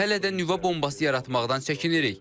Biz hələ də nüvə bombası yaratmaqdan çəkinirik.